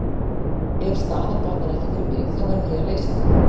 Ef staðan batnar ekki fyrir mig, þá verð ég að leysa hana.